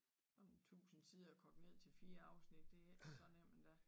1000 sider kogt ned til 4 afsnit det ikke så nemt endda